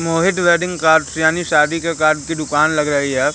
मोहित wedding cards यानी शादी का कार्ड की दुकान लग रही है।